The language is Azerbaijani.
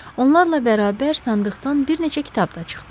Onlarla bərabər sandıqdan bir neçə kitab da çıxdı.